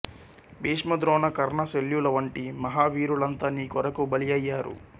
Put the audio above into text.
భీష్మ ద్రోణ కర్ణ శల్యుల వంటి మహా వీరులంతా నీ కొరకు బలి అయ్యారు